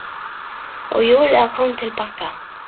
Og Júlía kom til baka.